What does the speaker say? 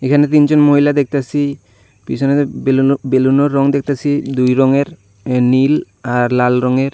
এখানে তিনজন মহিলা দেখতাছি পিছনে বেলুনো বেলুনের রং দেখতাছি দুই রঙের নীল আর লাল রঙের।